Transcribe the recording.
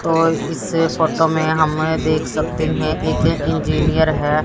और इस फोटो में हम देख सकते हैं एक इंजीनियर है।